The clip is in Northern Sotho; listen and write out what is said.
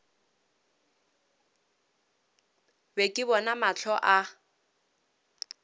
be ke bona mahlo a